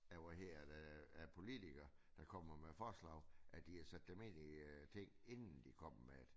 Af hvad hedder det af politikere der kommer med forslag at de har sat dem ind i tingene inden de kommer med det